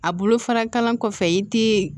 A bolo fara kalan kɔfɛ i tɛ